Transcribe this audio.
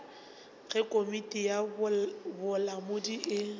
ge komiti ya bolamodi e